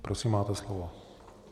Prosím, máte slovo.